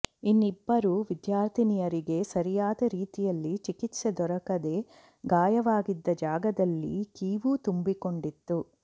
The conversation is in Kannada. ಇನ್ನಿಬ್ಬರು ವಿದ್ಯಾರ್ಥಿನಿಯರಿಗೆ ಸರಿಯಾದ ರೀತಿಯಲ್ಲಿ ಚಿಕಿತ್ಸೆ ದೊರಕದೆ ಗಾಯವಾಗಿದ್ದ ಜಾಗದಲ್ಲಿ ಕೀವು ತುಂಬಿಕೊಂಡಿತ್ತು